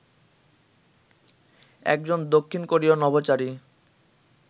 একজন দক্ষিণ কোরীয় নভোচারী